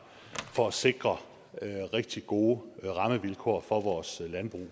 for at sikre rigtig gode rammevilkår for vores landbrug